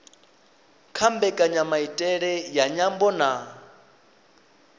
kha mbekanyamaitele ya nyambo na